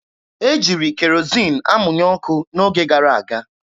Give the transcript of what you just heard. E jiri kerozin amụnye ọkụ n'oge gara aga.